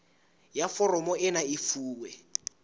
ya foromo ena e fuwe